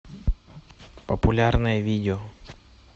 популярное видео